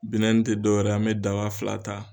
tɛ dɔwɛrɛ ye an bɛ daba fila ta